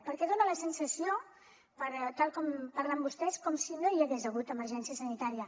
perquè dona la sensació per tal com parlen vostès com si no hi hagués hagut emergència sanitària